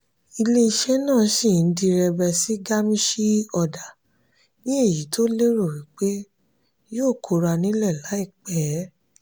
ilé iṣé náà sì n direbe sí gamishee order ní èyí tó lérò wípé yóò kóra nílè láìpé.